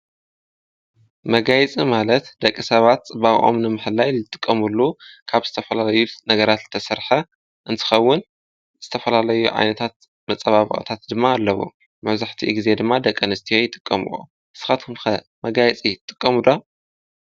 መጋየፂ ማለት ደቂ ሰባት ፅባቐኦም ንምሕላይ እንጥቀመሉ ካብ ዝተፈላለዩ ነገራት ዝተሰርሐ እንትኸውን ዝተፈላለዩ ዓይነታት መፀባበቕታት ድማ ኣለዉ መብዛሕትኡ ግዜ ድማ ደቀኣንስትዮ ይጥቀምኦ ንስኻትኩምኸ መጋየፂ ትጥቀሙ ዶ?